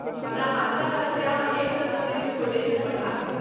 हमरा आशा रहत जे अहाँ एक सँ दू दिनमे कोटेशन पठा देब।